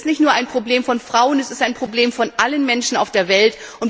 Es ist nicht nur ein Problem von Frauen, es ist ein Problem aller Menschen auf der Welt.